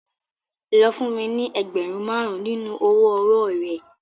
Lọ fún mi ní ẹgbẹ̀rún márùn-ún nínú owó ọwọ́ọ̀ rẹ.